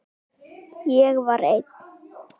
Ég var einn.